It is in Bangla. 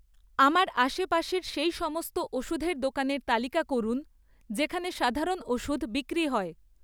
আমার আশেপাশের সেই সমস্ত ওষুধের দোকানের তালিকা করুন যেখানে সাধারণ ওষুধ বিক্রি হয়